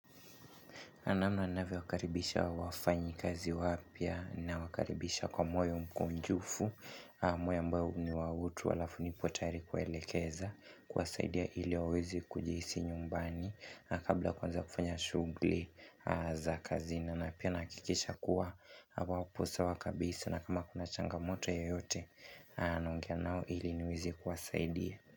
Na namna navyowakaribisha wafanyikazi wapya nawakaribisha kwa mwoyo mkunjufu moyo ambayo ni wa utu alafu nipo tayari kuelekeza kuwasaidia ili waweze kujihisi nyumbani Kabla kwanza kufanya shughuli za kazini na pia nahakikisha kuwa wapo sawa kabisa na kama kuna changamoto yeyote naongea nao ili niwezi kuwasaidia.